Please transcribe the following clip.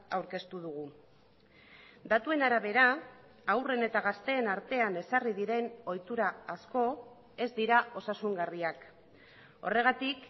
aurkeztu dugu datuen arabera haurren eta gazteen artean ezarri diren ohitura asko ez dira osasungarriak horregatik